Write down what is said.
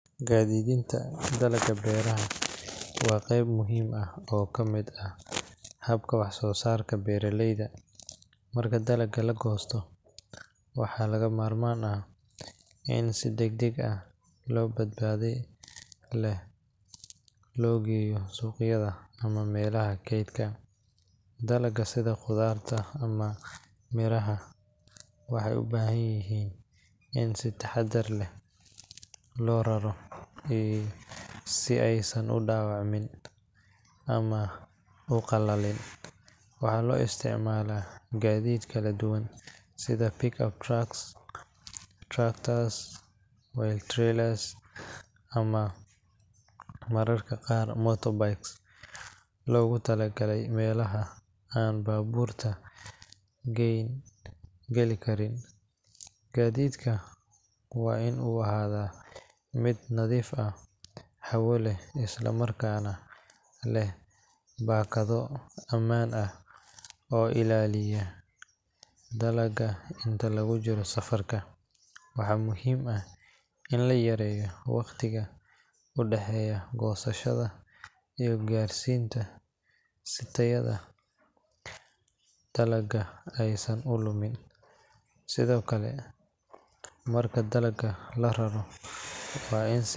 Gaadiidinta dalagga beeraha waa qayb muhiim ah oo ka mid ah habka wax-soo-saarka beeraleyda. Marka dalagga la goosto, waxaa lagama maarmaan ah in si degdeg ah oo badbaado leh loo geeyo suuqyada ama meelaha kaydka. Dalagga sida khudradda iyo miraha waxay u baahan yihiin in si taxadar leh loo raro si aysan u dhaawacmin ama u qalalin. Waxaa loo isticmaalaa gaadiid kala duwan sida pick-up trucks, tractors with trailers, ama mararka qaar motorbikes loogu talagalay meelaha aan baabuurka weyn geli karin. Gaadiidka waa in uu ahaadaa mid nadiif ah, hawo leh, isla markaana leh baakado ammaan ah oo ilaaliya dalagga inta lagu jiro safarka. Waxaa muhiim ah in la yareeyo waqtiga u dhexeeya goosashada iyo gaarsiinta si tayada dalagga aysan u lumin. Sidoo kale, marka dalagga la rarayo, waa in si.